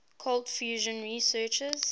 cold fusion researchers